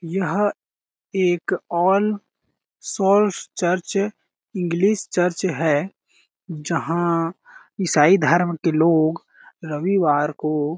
यहाँ एक All Souls church English church है जहाँ ईसाई धर्म के लोग रविवार को --